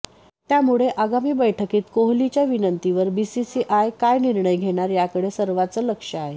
त्यामुळे आगामी बैठकीत कोहलीच्या विनंतीवर बीसीसीआय काय निर्णय घेणार याकडे सर्वांचं लक्ष आहे